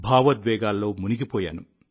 భావోద్వేగాల్లో మునిగిపోయాను